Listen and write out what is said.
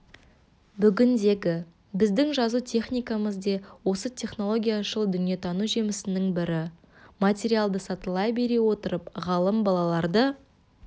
бүгіндегі біздің жазу техникеміз де осы технологияшыл дүниетану жемісінің бірі материалды сатылай бере отырып ғалым балаларды